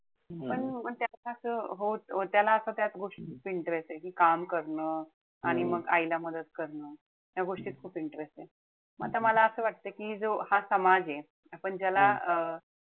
पण म त्याला असं त्याला असं त्या गोष्टीत खूप interest ए कि काम करणं, आणि मग आईला मदत करणं. ह्या गोष्टीत खूप interest ए. म आता मला असं वाटत कि तो हा समाज ए. आपण ज्याला अं